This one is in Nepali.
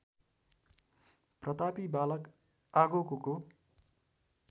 प्रतापी बालक आगोकोको